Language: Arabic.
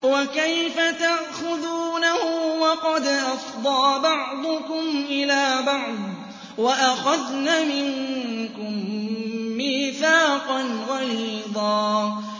وَكَيْفَ تَأْخُذُونَهُ وَقَدْ أَفْضَىٰ بَعْضُكُمْ إِلَىٰ بَعْضٍ وَأَخَذْنَ مِنكُم مِّيثَاقًا غَلِيظًا